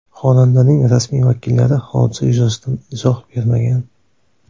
Xonandaning rasmiy vakillari hodisa yuzasidan izoh bermagan.